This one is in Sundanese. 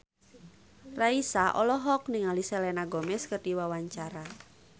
Raisa olohok ningali Selena Gomez keur diwawancara